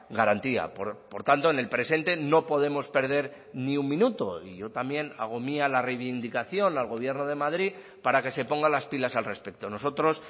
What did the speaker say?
garantía por tanto en el presente no podemos perder ni un minuto y yo también hago mía la reivindicación al gobierno de madrid para que se ponga las pilas al respecto nosotros